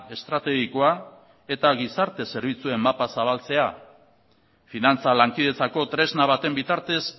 estrategikoa eta gizarte zerbitzuen mapa zabaltzea finantza lankidetzako tresna baten bitartez